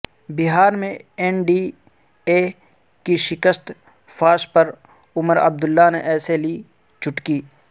بہار میں N D A کی شکست فاش پرعمرعبداللہ نے ایسے لی چٹکی